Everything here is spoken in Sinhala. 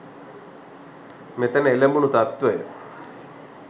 මෙතැනදී එළඹුණු තත්වය